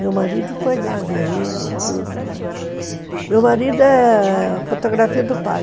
Meu marido foi lá ver ele e tudo, mas... Meu marido é fotografia do pai.